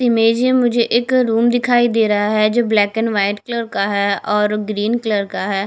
Image है मुझे एक रूम दिखाई दे रहा है जो ब्लैक एंड व्हाइट कलर का है और ग्रीन कलर का है।